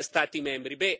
Stati membri.